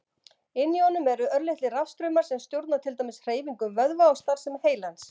Inni í honum eru örlitlir rafstraumar sem stjórna til dæmis hreyfingum vöðva og starfsemi heilans.